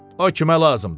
O kimə lazımdır?